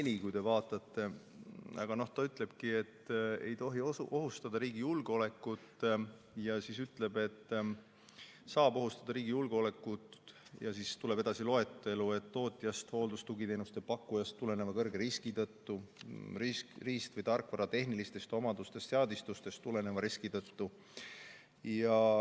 See ütlebki, et ei tohi ohustada riigi julgeolekut, ja ütleb, et see saab ohustada riigi julgeolekut – ja siis tuleb edasi loetelu – tootjast ning hooldus- ja tugiteenuste pakkujast tuleneva kõrge riski tõttu ning riist- või tarkvara tehnilistest omadustest või seadistustest tuleneva riski tõttu.